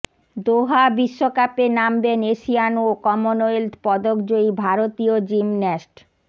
দোহা বিশ্বকাপে নামবেন এশিয়ান ও কমনওয়েলথ পদক জয়ী ভারতীয় জিমন্যাস্ট